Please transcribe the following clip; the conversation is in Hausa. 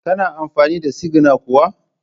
Kana amfani da sigina kuwa?